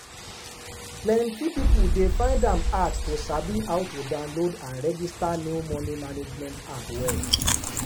plenty people dey find am hard to sabi how to download and register new money management app well.